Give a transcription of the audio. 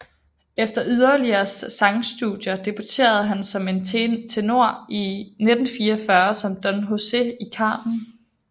Efter yderligere sangstudier debuterede han som tenor i 1944 som Don José i Carmen